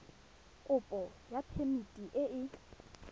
kopo ya phemiti e e